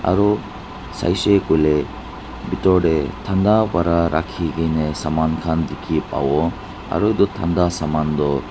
aro saishe kuile bitor de thanda para rakhi kena saman khan dikhi pabo aro itu thanda saman toh.